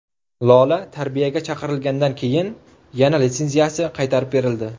Lola tarbiyaga chaqirilgandan keyin yana litsenziyasi qaytarib berildi.